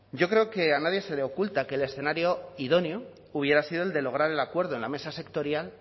yo creo que a nadie se le oculta que el escenario idóneo hubiera sido el de lograr el acuerdo en la mesa sectorial